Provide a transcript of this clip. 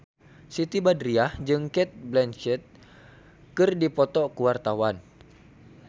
Siti Badriah jeung Cate Blanchett keur dipoto ku wartawan